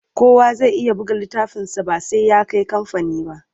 Kowa zai iya buga littafinsa ba sai ya kai kamfani ba.